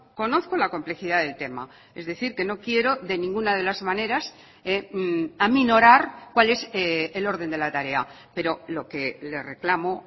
conozco la complejidad del tema es decir que no quiero de ninguna de las maneras aminorar cuál es el orden de la tarea pero lo que le reclamo